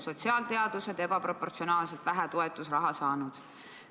Sotsiaalteadused on ebaproportsionaalselt vähe toetusraha saanud.